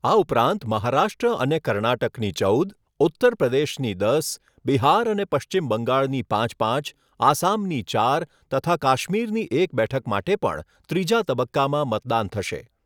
આ ઉપરાંત, મહારાષ્ટ્ર અને કર્ણાટકની ચૌદ, ઉત્તર પ્રદેશની દસ, બિહાર અને પશ્ચિમ બંગાળની પાંચ પાંચ, આસામની ચાર તથા કાશ્મીરની એક બેઠક માટે પણ ત્રીજા તબક્કામાં મતદાન થશે.